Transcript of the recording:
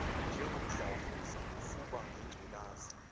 njengomdlavuza ufuba nengculaza